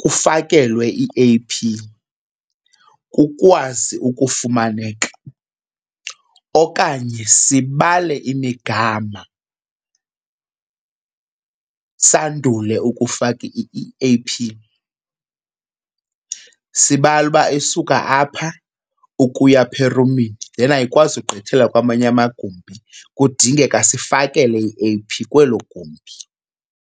kufakelwe i-A_P kukwazi ukufumaneka okanye sibale imigama sandule ukufaka i-A_P. Sibale uba isuka apha ukuya phaa erumini then ayikwazi ukugqithela kwamanye amagumbi, kudingeka sifakele i-A_P kwelo gumbi.